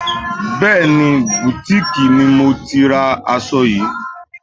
Bẹẹni, butiiki ni mo ti ra aṣọ yìí.